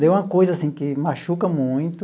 Deu uma coisa assim que machuca muito.